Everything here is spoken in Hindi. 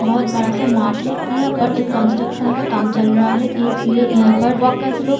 बहोत बड़ा सा मार्ट है इहाँ पर एक कंस्ट्रक्शन का काम चल रहा है इसलिए इहाँ पर वर्कर्स लोग--